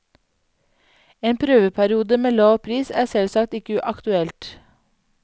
En prøveperiode med lav pris er selvsagt ikke aktuelt.